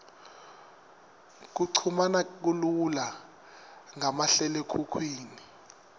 kuchumana kulula ngamahlalekhukhwini